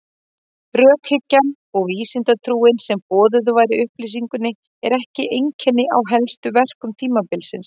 Rökhyggjan og vísindatrúin sem boðuð var í upplýsingunni er ekki einkenni á helstu verkum tímabilsins.